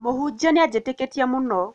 Mũhunjia nĩanjĩtĩkĩtie mũno